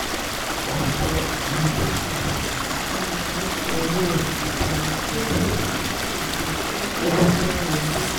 ọ̀pọ̀ àwọn tó ti fẹ̀yìn tì gbára lé owó ìbánigbófò láti fi kún owó tó ń wọlé